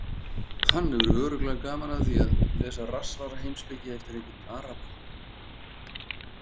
Hann hefur örugglega gaman af því að lesa rassvasaheimspeki eftir einhvern araba!